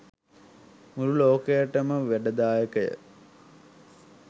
මුළු ලෝකයටම වැඩදායකය